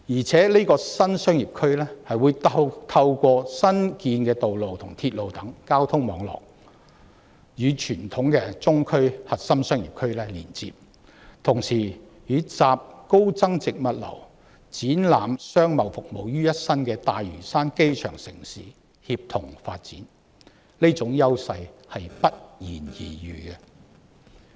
這個核心新商業區更可以透過新建道路及鐵路等交通網絡，與傳統的中區核心商業區連接，並同時與集高增值物流及展覽商貿服務於一身的大嶼山"機場城市"協同發展，這種優勢是不言而喻的。